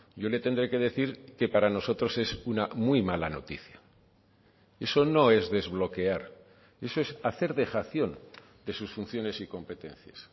yo le tendré que decir que para nosotros es una muy mala noticia eso no es desbloquear eso es hacer dejación de sus funciones y competencias